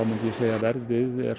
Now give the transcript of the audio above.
verðið er